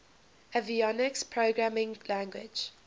avionics programming language